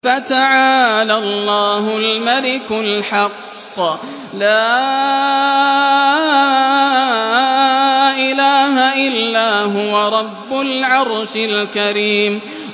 فَتَعَالَى اللَّهُ الْمَلِكُ الْحَقُّ ۖ لَا إِلَٰهَ إِلَّا هُوَ رَبُّ الْعَرْشِ الْكَرِيمِ